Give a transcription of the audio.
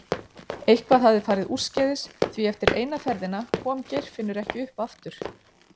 Eitthvað hafði farið úrskeiðis því eftir eina ferðina kom Geirfinnur ekki upp aftur.